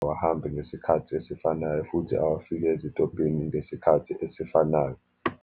Awahambe ngesikhathi esifanayo, futhi awafike esitobhini ngesikhathi esifanayo.